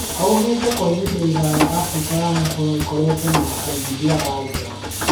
Aũgite, kwa ihinda iraya Afrika ya mũhuro nĩkoretwe na aigithia a nja